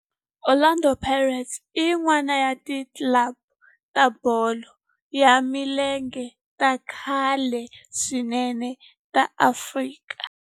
Orlando Pirates i yin'wana ya ti club ta bolo ya milenge ta khale swinene ta Afrika.